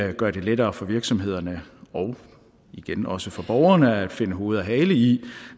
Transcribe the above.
det gør det lettere for virksomhederne og igen også for borgerne at finde hoved og hale i